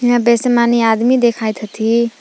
यहां बेसे मनी आदमी देखाइत हथी।